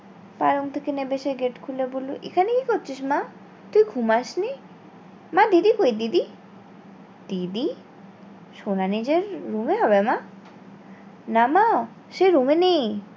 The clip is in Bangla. তার room থেকে না সে gate খুলে বললো এখানে কি করছিস মা? তুই ঘুমাস নি? মা দিদি কোই দিদি? দিদি সোনা নিজের room এ হবে মা না মা সে room এ নেই